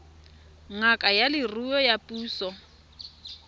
ngaka ya leruo ya puso